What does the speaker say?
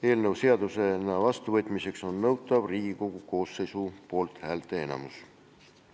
Eelnõu seadusena vastuvõtmiseks on nõutav Riigikogu koosseisu poolthäälteenamus.